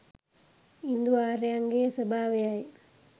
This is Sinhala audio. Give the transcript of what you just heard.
ඉන්දු ආර්යයන්ගේ ස්වභාවයි.